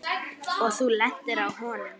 Og þú lentir á honum?